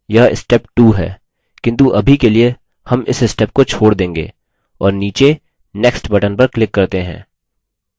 यह step 2 है किन्तु अभी के लिए हम इस step को छोड़ देंगे और नीचे next button पर click करते हैं